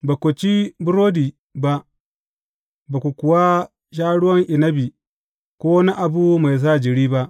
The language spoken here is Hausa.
Ba ku ci burodi ba, ba ku kuwa sha ruwan inabi, ko wani abu mai sa jiri ba.